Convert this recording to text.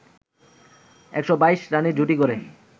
১২২ রানের জুটি গড়ে